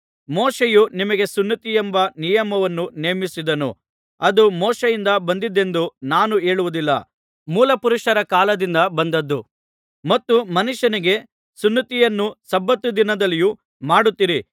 ಮೋಶೆಯು ನಿಮಗೆ ಸುನ್ನತಿಯೆಂಬ ನಿಯಮವನ್ನು ನೇಮಿಸಿದನು ಅದು ಮೋಶೆಯಿಂದ ಬಂದದ್ದೆಂದು ನಾನು ಹೇಳುವುದಿಲ್ಲ ಮೂಲಪುರುಷರ ಕಾಲದಿಂದ ಬಂದದ್ದು ಮತ್ತು ಮನುಷ್ಯನಿಗೆ ಸುನ್ನತಿಯನ್ನು ಸಬ್ಬತ್ ದಿನದಲ್ಲಿಯೂ ಮಾಡುತ್ತೀರಿ